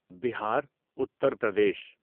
Bihar Uttar Pradesh